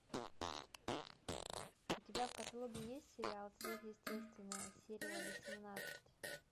у тебя в каталоге есть сериал сверхъестественное серия восемнадцать